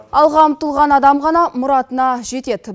алға ұмтылған адам ғана мұратына жетеді